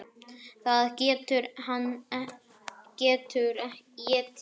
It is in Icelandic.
Það sem hann getur étið!